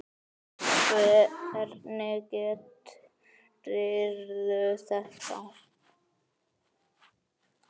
Hvernig gerirðu þetta?